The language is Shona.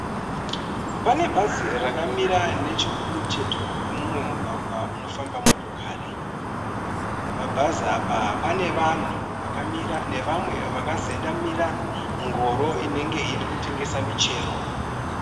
Pane bhazi rakamira nechekumucheto kwemumwe mugwagwa unofamba motokari. Pabhazi apa panevanhu vakamira nevamwe vakazendamira ngoro inenge irikutengesa michero.